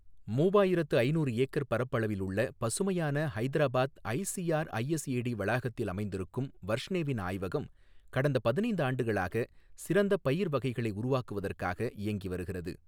மூவாயிரத்து ஐநூறு ஏக்கர் பரப்பளவில் உள்ள பசுமையான ஹைதராபாத் ஐசிஆர்ஐஎஸ்ஏடி வளாகத்தில் அமைந்திருக்கும் வர்ஷ்னேவின் ஆய்வகம், கடந்த பதினைந்து ஆண்டுகளாக சிறந்த பயிர் வகைகளை உருவாக்குவதற்காக இயங்கி வருகிறது.